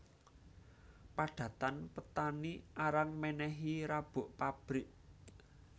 Padatan petani arang menehi rabuk pabrik